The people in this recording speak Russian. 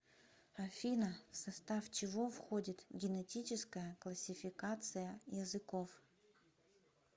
афина в состав чего входит генетическая классификация языков